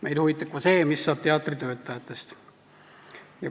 Meid huvitab ka see, mis saab teatri töötajatest.